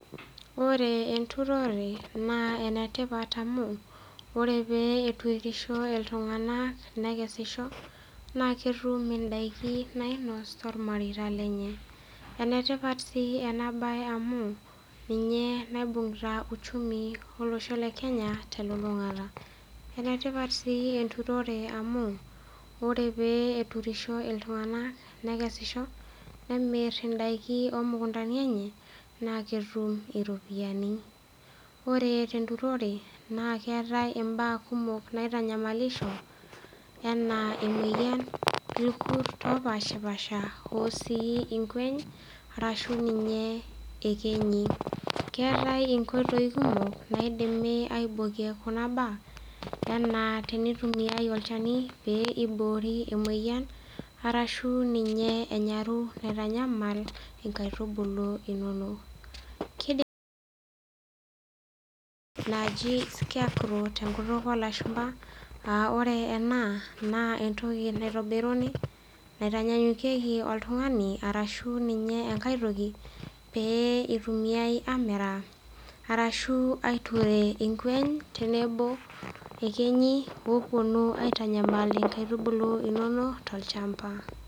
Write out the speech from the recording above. Ore enturore naa ene tipat amu ore pee eturisho iltung'anak nekesisho naake etum indaikin nainos tormareita lenye. Ene tipat sii ena baye amu ninye naibung'ita uchumi olosho le Kenya te lulung'ata. Ene tipat sii enturore amu ore pee eturisho iltung'anak nekesisho nemir indaikin oo mukundani enye naake etum iropiani. Ore te nturore naake eetai imbaa kumok naitanyamalisho enaa emueyian, irkurt opaashipaasha oo sii inkueny arashu ninye iyekenyi. Keetai inkoitoi kumok naidimi aibokie kuna baa enaa tenitumiai olchani pee iboori emoyian arashu ninye enyaru naitanyamal inkaitubulu inonok. Kidimi naji scarecrow te nkutuk oo lashumba aa ore ena naa entoki naitobiruni naitanyanyukeki oltung'ani arashu ninye enkae toki pee etumiai aamiraa arashu aiture irkwueny tenebo ekenyi ooponu aitanyamal inkaitubulu inonok tolchamba.